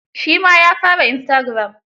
Shi ma yaa fara Istagiram.